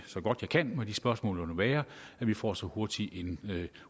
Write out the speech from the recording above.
så godt jeg kan med de spørgsmål der måtte være så vi får så hurtig en